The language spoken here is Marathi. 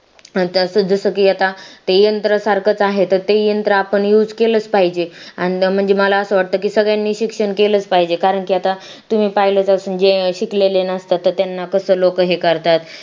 जसं की ते आता यंत्र सारखाच आहे तर ते यंत्र आपण use केलं पाहिजे आणि म्हणजे मला असं वाटतं की सगळ्यांनी शिक्षण केलंच पाहिजे कारण की आता तुम्ही पाहिलं तर शिकलेले नसतात त्यांना कसं लोकं हे करतात